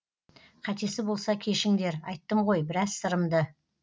қатесі болса кешіңдер айттым ғой біраз сырымды